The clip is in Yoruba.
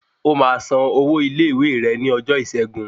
O máa san owó ilé ìwé rẹ ní ọjọ́ ìṣẹ́gun